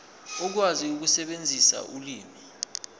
ukwazi ukusebenzisa ulimi